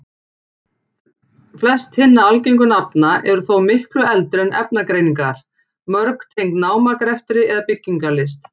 Flest hinna algengu nafna eru þó miklu eldri en efnagreiningar, mörg tengd námagreftri eða byggingarlist.